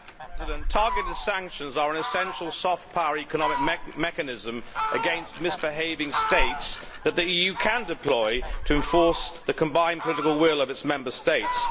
Madam President, targeted sanctions are an essential soft power economic mechanism against misbehaving states that the EU can deploy to enforce the combined political will of its Member States.